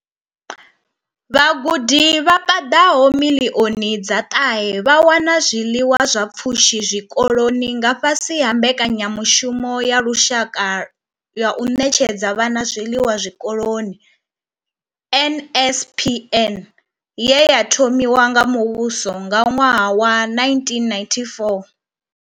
Vhagudi vha paḓaho miḽioni dza ṱahe vha wana zwiḽiwa zwa pfushi zwikoloni nga fhasi ha mbekanyamushumo ya lushaka ya u ṋetshedza vhana zwiḽiwa zwikoloni NSNP ye ya thomiwa nga muvhuso nga ṅwaha wa 1994.